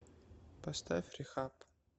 поставь рехаб